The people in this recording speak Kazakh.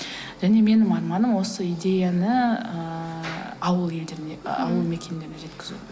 және менің арманым осы идеяны ыыы ауыл елдеріне ы ауыл мекендеріне жеткізу